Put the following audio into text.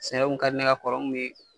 Sɛnɛ kun ka di ne ye ka kɔrɔ n kun bɛ.